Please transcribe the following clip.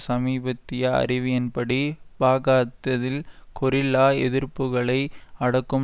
சமீபத்திய அறிவியின்படி பாகாத்ததில் கொரில்லா எதிர்ப்புக்களை அடக்கும்